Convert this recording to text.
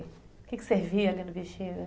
O que que servia ali no Bexiga?